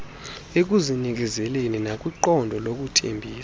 ekuzinikezeleni nakwiqondo lokuthembisa